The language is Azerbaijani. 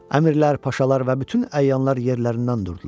Əmirlər, paşalar və bütün əyanlar yerlərindən durdular.